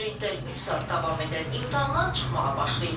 Abituriyentlər üç saat davam edən imtahandan çıxmağa başlayırlar.